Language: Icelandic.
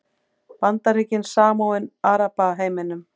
Bandaríkin samofin Arabaheiminum